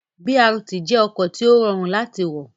BRT jẹ́ ọkọ̀ tí ó rọrùn láti wọ̀